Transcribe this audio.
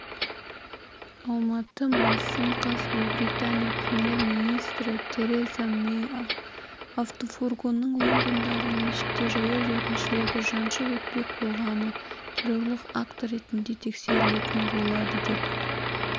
алматы маусым қаз ұлыбритания премьер-министрі тереза мэй автофургонның лондондағы мешітте жаяу жүргіншілерді жаншып өтпек болғаны террорлық акті ретінде тексерілетін болады деп